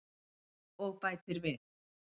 Og bætir við: